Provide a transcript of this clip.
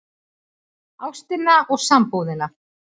ÁSTINA OG SAMBÚÐINA